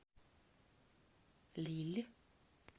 лилль